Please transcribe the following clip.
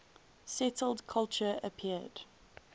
settled culture appeared